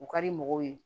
U ka di mɔgɔw ye